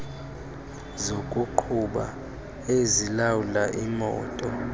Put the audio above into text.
zokuqhuba ezilawula imoto